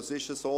Es ist so: